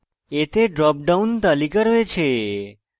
এতে drop down তালিকা রয়েছে